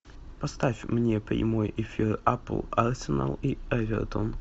поставь мне прямой эфир апл арсенал и эвертон